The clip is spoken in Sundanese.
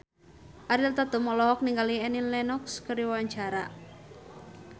Ariel Tatum olohok ningali Annie Lenox keur diwawancara